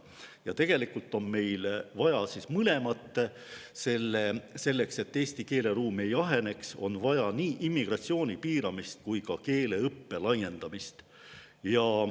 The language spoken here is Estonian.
Ja tegelikult on meil vaja mõlemat: selleks et eesti keeleruum ei aheneks, on vaja nii immigratsiooni piiramist kui ka keeleõppe laiendamist.